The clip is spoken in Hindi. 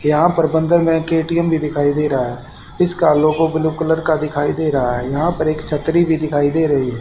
यहाॅं पर बंदर में के_टी_एम भीं दिखाई दे रहा हैं इसका लोगो ब्लू कलर का दिखाई दे रहा हैं यहाँ पर एक छत्री भीं दिखाई दे रहीं हैं।